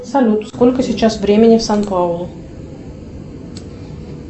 салют сколько сейчас времени в сан паулу